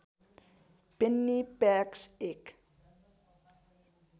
Penney packs एक